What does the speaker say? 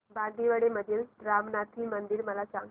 बांदिवडे मधील रामनाथी मंदिर मला सांग